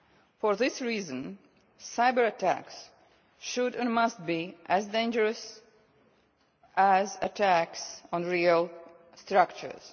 For this reason, cyber attacks should and must be seen to be as dangerous as attacks on real structures.